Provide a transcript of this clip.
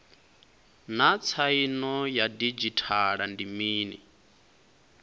naa tsaino ya didzhithala ndi mini